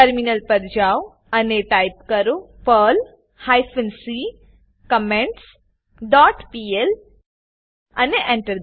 terminal પર જાઓ અને ટાઈપ કરો Perl hyphen C comments dot PL અને Enter